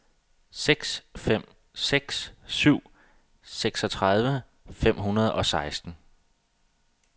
seks fem seks syv seksogtredive fem hundrede og seksten